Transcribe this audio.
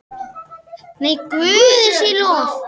Nei, Guði sé lof.